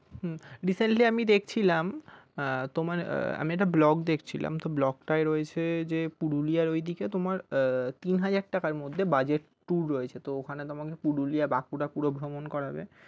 হম recently আমি দেখছিলাম তোমার আমি একটা vlog দেখছিলাম তো vlog টায় রয়েছে যে পুরুলিয়ার ওই দিকে তোমার তিন হাজার টাকার মধ্যে budget tour রয়েছে তো ওখানে তোমাকে পুরুলিয়া বাঁকুড়া পুরো ভ্রমন করাবে।